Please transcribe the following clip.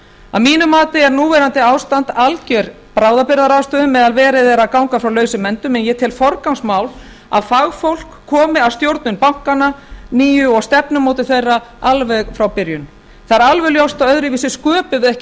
að mínu mati er núverandi ástand algjör bráðabirgðaráðstöfun meðan verið er að ganga frá lausum endum en ég tel forgangsmál að fagfólk komi að stjórnun bankanna nýju og stefnumótun þeirra alveg frá byrjun það er alveg ljóst að öðruvísi sköpum við ekki